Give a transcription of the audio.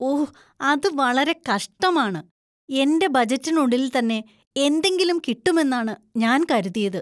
ഓ, അത് വളരെ കഷ്ടമാണ്. എന്‍റെ ബജറ്റിനുള്ളിൽ തന്നെ എന്തെങ്കിലും കിട്ടുമെന്നാണ് ഞാന്‍ കരുതിയത്.